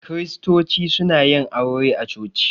Kiristoci suna yin aure a coci.